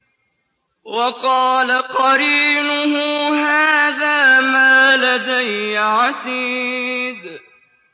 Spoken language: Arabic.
وَقَالَ قَرِينُهُ هَٰذَا مَا لَدَيَّ عَتِيدٌ